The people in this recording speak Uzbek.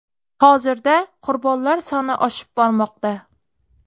Hozirda qurbonlar soni oshib bormoqda.